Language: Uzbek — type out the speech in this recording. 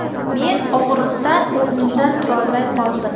Men og‘riqdan o‘rnimdan turolmay qoldim.